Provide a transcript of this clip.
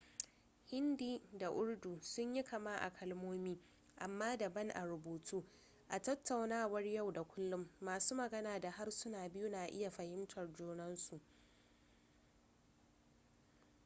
hindi da urdu sun yi kama a kalmomi amma daban a rubutu a tattaunawar yau da kullun masu magana da harsunan biyu na iya fahimtar junan su